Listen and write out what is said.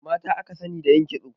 Mata aka sani da yin kitso